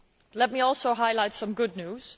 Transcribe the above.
Let me also highlight some good news.